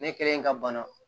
Ne kɛlen ka bana